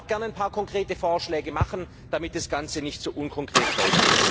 Ich will auch gerne ein paar konkrete Vorschläge machen, damit das Ganze nicht so unkonkret bleibt.